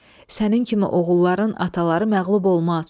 Sənin kimi oğulların ataları məğlub olmaz.